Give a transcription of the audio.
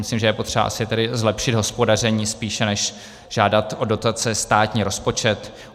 Myslím, že je potřeba asi tedy zlepšit hospodaření spíše než žádat o dotace státní rozpočet.